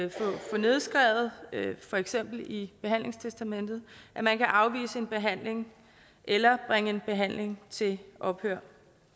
få nedskrevet for eksempel i behandlingstestamentet at man kan afvise en behandling eller bringe en behandling til ophør